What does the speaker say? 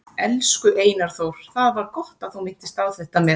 Elsku Einar Þór, það var gott að þú minntist á þetta með